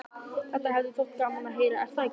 Þetta hefði þér þótt gaman að heyra, er það ekki?